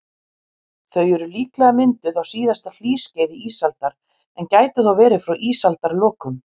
Þau eru líklega mynduð á síðasta hlýskeiði ísaldar, en gætu þó verið frá ísaldarlokum.